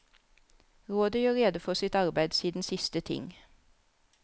Rådet gjør rede for sitt arbeid siden siste ting.